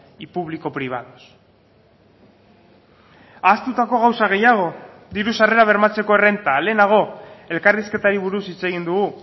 y público privados ahaztutako gauza gehiago diru sarrerak bermatzeko errenta lehenago elkarrizketari buruz hitz egin dugu